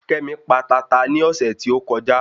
Kémi pa tata ní ọ̀sẹ̀ tí ó kọjá